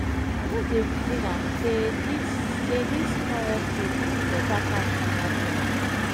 i just dey reason am sey dis sey dis forex trading fit beta pass normal job.